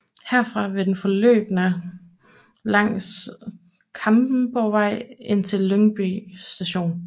Herfra vil den forløbe langs Klampenborgvej indtil Lyngby Station